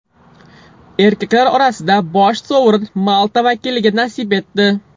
Erkaklar orasida bosh sovrin Malta vakiliga nasib etdi.